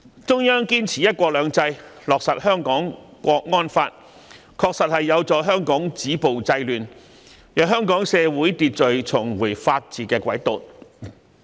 中央堅持"一國兩制"，落實《香港國安法》，確實有助香港止暴制亂，令香港社會秩序重回法治軌道。